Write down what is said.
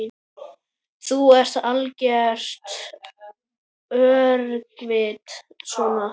Þú ert algert öngvit svona!